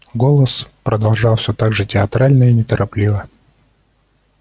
голос продолжал всё так же театрально и неторопливо